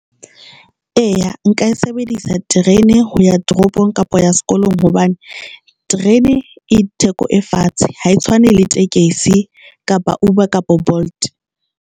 Eya, nka e sebedisa terene ho ya toropong kapa ya sekolong hobane terene e theko e fatshe. Ha e tshwane le tekesi kapa Uber kapa Bolt.